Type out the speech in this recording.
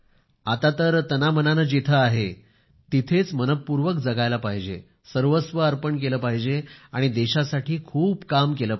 आता तर तनामनाने जिथे आहे तिथेच मनःपूर्वक जगायला पाहिजे सर्वस्व अर्पण केले पाहिजे आणि देशासाठी खूप काम केलं पाहिजे